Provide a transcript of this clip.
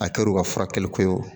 A kɛr'u ka furakɛli ko ye